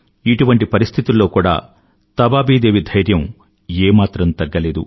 ఇటువంటి పరిస్థితులలో కూడా తబాబి దేవి ధైర్యం ఏ మాత్రం తగ్గలేదు